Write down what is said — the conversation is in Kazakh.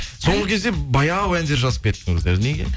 соңғы кезде баяу әндер жазып кеттіңіздер неге